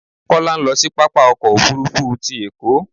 Kọ́lá ń lọ sí pápá ọkọ̀ òfuurufú ti Èkó